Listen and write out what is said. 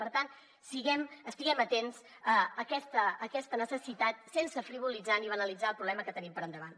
per tant estiguem atents a aquesta necessitat sense frivolitzar ni banalitzar el problema que tenim per davant